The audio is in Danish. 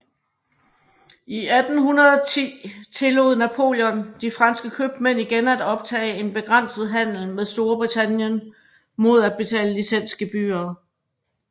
I 1810 tillod Napoleon de franske købmænd igen at optage en begrænset handel med Storbritannien mod at betale licensgebyrer